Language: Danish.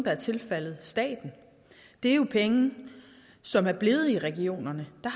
er tilfaldet staten det er penge som er blevet i regionerne og